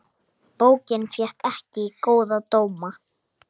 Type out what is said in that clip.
Bókin fékk ekki góða dóma.